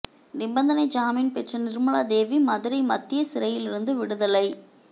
நிபந்தனை ஜாமீன் பெற்ற நிா்மலா தேவி மதுரை மத்திய சிறையிலிருந்து விடுதலை